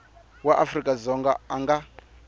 wa afrika dzonga a nga